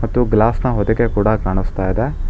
ಮತ್ತು ಗ್ಲಾಸ್ ನ ಹೊದಿಕೆ ಕೂಡ ಕಾಣಿಸ್ತಾ ಇದೆ.